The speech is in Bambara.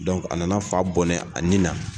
a nana fa bɔnɛ a ni na